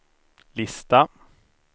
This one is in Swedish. lista